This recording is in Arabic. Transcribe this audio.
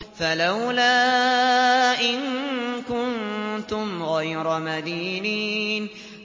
فَلَوْلَا إِن كُنتُمْ غَيْرَ مَدِينِينَ